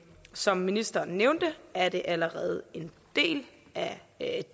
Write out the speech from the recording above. som ministeren nævnte er det allerede en del af